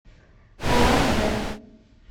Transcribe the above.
улан удэ